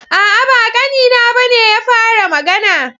A'a, ba ƙanina ba ne ya fara magana.